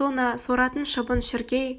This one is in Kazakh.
сона соратын шыбын-шіркей